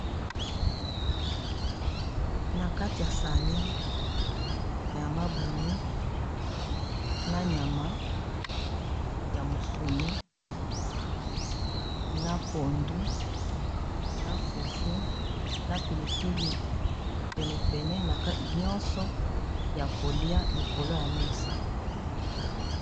na kati ya sani nyama ya mabumu na nyama ya musuni na pondu na fufu na pilipili penepene na nyonso ya kolia likolo ya mesa